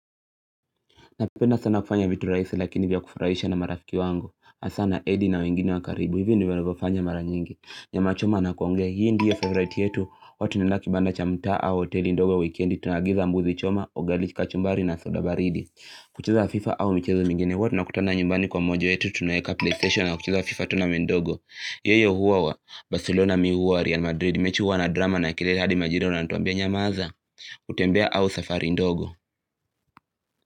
Napenda sana kufanya vitu rahisi lakini vya kufurahisha na marafiki wangu. Asa na edi na wengine wa karibu hivyo ndivyo navyofanya mara nyingi. Nyama choma na kuongea. Hii ndiyo favorite yetu. Watu. Nina kibanda cha mtaa au hoteli ndogo weekendi. Tunaagiza mbuzi choma, ugali kachumbari na soda baridi. Kucheza fifa au michezo mingine. Huwa tunakutana nyumbani kwa mmoja wetu tunaweka playstation na kucheza fifa tu na mdogo. Yeye huwa wa Barcelona mi huwa Real Madrid. Mechi huwa na drama na kelele hadi majirani wanatuambia nyamaza. Utembea au safari ndogo.